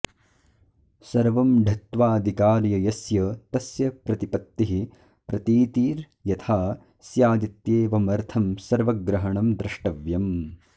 सर्वं ढत्वादिकार्य यस्य तस्य प्रतिपत्तिः प्रतीतिर्यथा स्यादित्येवमर्थं सर्वग्रहणं द्रष्टव्यम